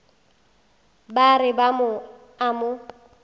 ba re ba a mo